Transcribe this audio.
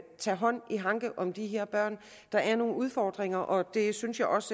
tage hånd om de her børn der er nogle udfordringer og det synes jeg også